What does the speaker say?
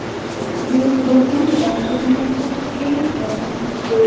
Buyuk Britaniyada erimaydigan muzqaymoq yaratildi.